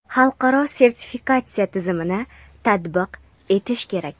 xalqaro sertifikatsiya tizimini tatbiq etish kerak.